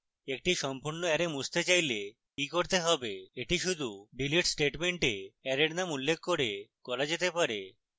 একটি সম্পূর্ণ অ্যারে মুছতে চাইলে কি করতে হবে এটি শুধু delete স্টেটমেন্টে অ্যারের নাম উল্লেখ করে করা যেতে পারে